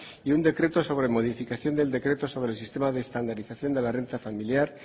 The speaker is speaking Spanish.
y un decreto sobre modificación del decreto sobre el sistema de estandarización de la renta familiar